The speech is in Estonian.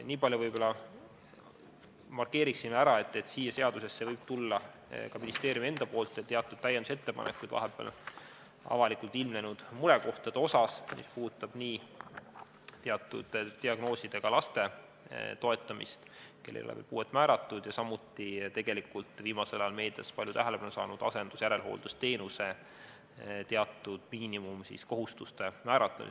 Niipalju võib-olla markeerin veel ära, et seadusesse võib tulla ka ministeeriumi teatud täiendusettepanekuid vahepeal avalikkuses ilmnenud murekohtade kohta, mis puudutavad nii teatud diagnoosidega laste toetamist, kellele ei ole veel puuet määratud, ja samuti viimasel ajal meedias palju tähelepanu saanud asendus- ja järelhooldusteenuse teatud miinimumkohustuste määratlemist.